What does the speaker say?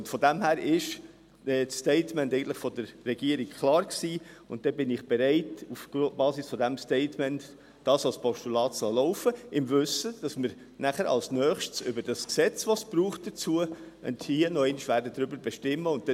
Diesbezüglich war das Statement der Regierung eigentlich klar, und deshalb bin ich bereit, es auf Basis dieses Statements als Postulat laufen zu lassen, im Wissen darum, dass wir hier als Nächstes über das Gesetz, das es dafür braucht, noch einmal bestimmen werden.